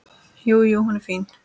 Jú, jú. hún er fín.